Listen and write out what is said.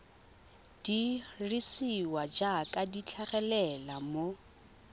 dirisiwa jaaka di tlhagelela mo